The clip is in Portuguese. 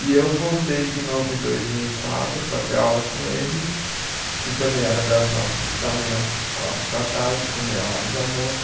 E eu voltei de novo em dois mil e quatro para ter aula com ele, que também era das nove da manhã às quatro da tarde, com meia hora de almoço.